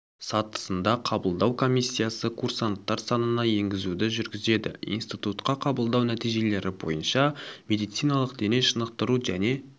сатысында қабылдау комиссиясы курсанттар санына енгізуді жүргізеді институтқа қабылдау нәтижелері бойынша медициналық дене шынықтыру және